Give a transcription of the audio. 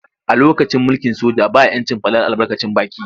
A lokacin mulkin soja ba ‘yancin fadar albarkacin baki.